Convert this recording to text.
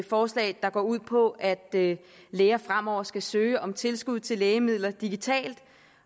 forslag der går ud på at læger fremover skal søge om tilskud til lægemidler digitalt